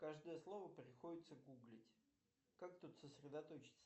каждое слово приходится гуглить как тут сосредоточиться